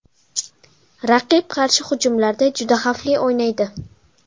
Raqib qarshi hujumlarda juda xavfli o‘ynaydi.